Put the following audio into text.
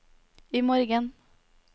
imorgen